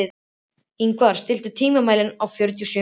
Ingvar, stilltu tímamælinn á fjörutíu og sjö mínútur.